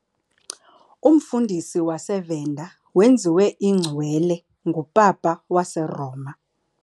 Umfundisi waseVenda wenziwe iNgcwele nguPapa waseRoma.